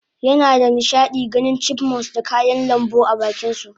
yinada nishadin ganin Chipmunks da kayan lambu abakinsu